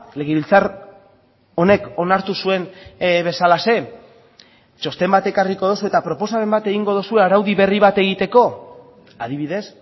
legebiltzar honek onartu zuen bezalaxe txosten bat ekarriko duzue eta proposamen bat egingo duzue araudi berri bat egiteko adibidez